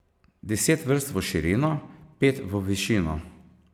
Deset vrst v širino, pet v višino.